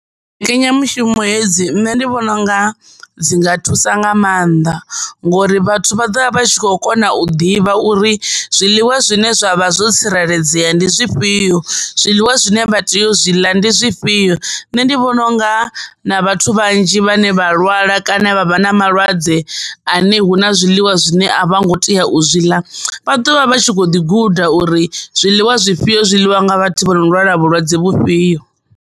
Mbekanyamushumo hedzi nṋe ndi vhona unga dzi a thusa nga mannḓa ngori vhathu vha vha kho kona u ḓivha uri zwiḽiwa zwine zwavha zwo tsireledzea ndi zwifhio, zwiḽiwa zwine vha tea u zwi ḽa ndi zwifhio. Nṋe ndi vhona unga na vhathu vhanzhi vhane vha lwala kana vha vha na malwadze ane huna zwiḽiwa zwine avha tei u zwi ḽa vha ḓovha vha tshi kho guda uri zwiḽiwa zwifhio zwi ḽiwa nga vhathu vhano lwala vhulwadze vhufhio.